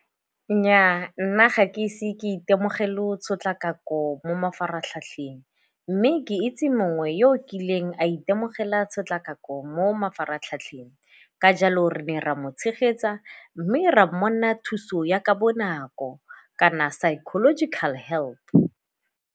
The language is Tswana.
Nnyaa, nna ga ke ise ke itemogele go tshotlakako mo mafaratlhatlheng mme ke itse mongwe yo o kileng a itemogela tshotlakako mo mafaratlhatlheng ka jalo re ne ra mo tshegetsa mme ra thuso ya ka bonako kana psychological help.